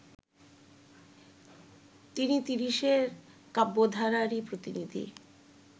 তিনি তিরিশের কাব্যধারারই প্রতিনিধি